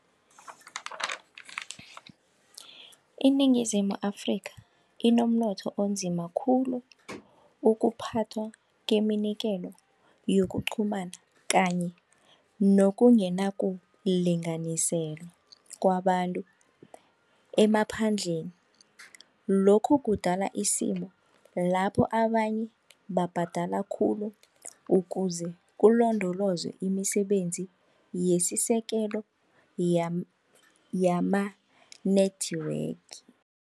INingizimu Afrika inomnotho onzima khulu, ukuphathwa keminikelo yokuqhumana kanye nokungena kulinganiselo kwabantu emaphandleni lokhu kudala isimo lapho abanye babhadela khulu ukuze kulondolozwe imisebenzi yesisekelo yama-network.